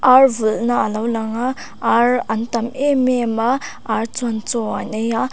ar vulhna a lo lang a ar an tam em em a ar chuan chaw an ei a.